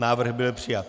Návrh byl přijat.